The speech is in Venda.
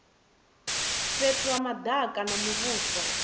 fhethu ha madaka a muvhuso